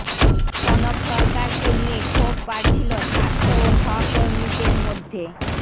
কনক সরকারকে নিয়ে ক্ষোভ বাড়ছিল ছাত্র ও সহকর্মীদের মধ্য়ে